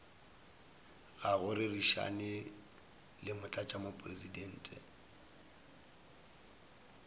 ga go rerišana le motlatšamopresidente